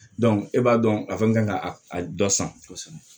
e b'a dɔn k'a fɔ n ka a dɔ san kosɛbɛ